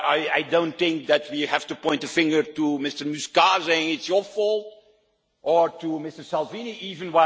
I do not think we have to point a finger at Mr Muscat and say it's your fault, or at Mr Salvini even.